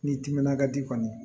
N'i timinan ka di kɔni